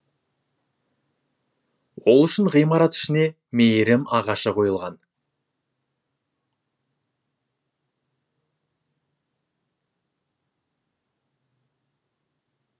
ол үшін ғимарат ішіне мейірім ағашы қойылған